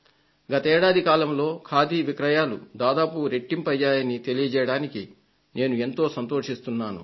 గత ఏడాది కాలంలో ఖాదీ విక్రయాలు దాదాపు రెట్టింపయ్యాయని తెలియజేయడానికి నేను ఎంతో సంతోషిస్తున్నాను